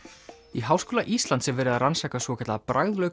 í Háskóla Íslands er verið að rannsaka svokallaða